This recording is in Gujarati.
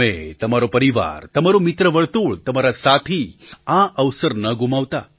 તમે તમારો પરિવાર તમારું મિત્રવર્તુળ તમારા સાથી આ અવસર ન ગુમાવતા